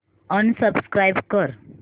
unsubscribe कर